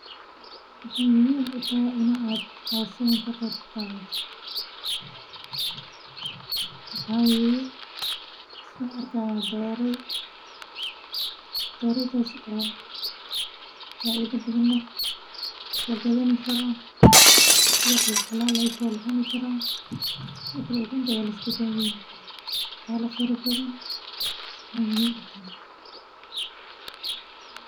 Waxaa weeye saan arkaayo doraay, dooray daas oo faido badan leh, lagadani karo sidi oo kale xalaal aay tahay, la cuni karo, sidi oo kale ukunteedi la isku daaweyni karo, wax yaawo fara badan aay muhiim utahay